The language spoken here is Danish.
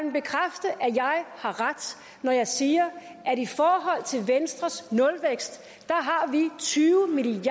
har ret når jeg siger at vi i forhold til venstres nulvækst